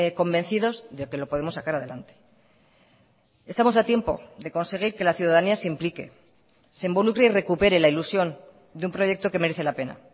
convencidos de que lo podemos sacar adelante estamos a tiempo de conseguir que la ciudadanía se implique se involucre y recupere la ilusión de un proyecto que merece la pena